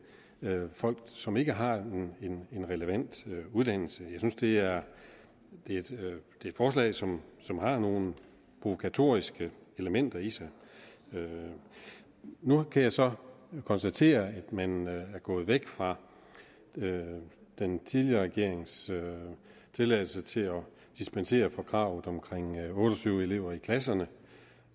folk som ikke har en relevant uddannelse jeg synes det er et forslag som som har nogle provokatoriske elementer i sig nu kan jeg så konstatere at man er gået væk fra den tidligere regerings tilladelse til at dispensere fra kravet om otte og tyve elever i klasserne